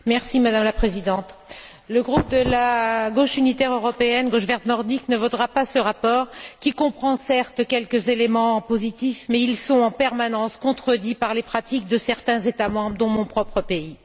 Madame la Présidente, le groupe de la Gauche unitaire européenne Gauche verte nordique ne votera pas ce rapport qui comprend, certes, quelques éléments positifs, mais ils sont en permanence contredits par les pratiques de certains États membres, dont mon propre pays.